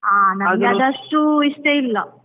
ಹಾ, ನಂಗ್ ಅದಷ್ಟು ಇಷ್ಟ ಇಲ್ಲ.